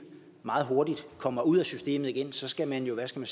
meget hurtigt kommer ud af systemet igen for så skal man jo hvad skal